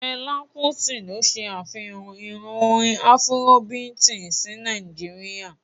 Fela Kuti ló se afihan ìran orin afurobiiti sí Nàìjíríà.